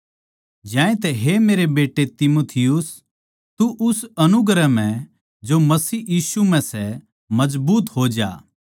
ज्यांतै हे मेरे बेट्टे तीमुथि तू उस अनुग्रह म्ह जो मसीह यीशु म्ह सै मजबूत हो जा